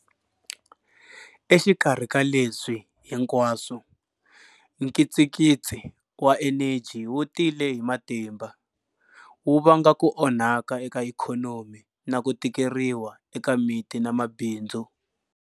Exikarhi ka leswi hinkwaswo, nkitsikitsi wa eneji wu tile hi matimba, wu vanga ku onhaka eka ikhonomi na ku tikeriwa eka miti na mabindzu.